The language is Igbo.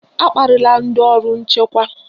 Akparịla ndị ọrụ nchekwa!